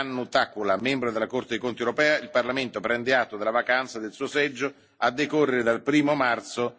Hannu Takkula a membro della Corte dei conti europea, il Parlamento prende atto della vacanza del suo seggio a decorrere dal 1o marzo